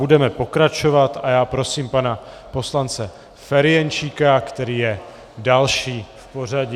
Budeme pokračovat a já prosím pana poslance Ferjenčíka, který je další v pořadí.